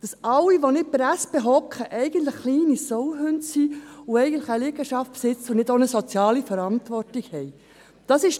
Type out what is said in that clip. Dass alle, welche nicht bei der SP sind, kleine Sauhunde sind und eine Liegenschaft besitzen, ohne ihre soziale Verantwortung wahrzunehmen?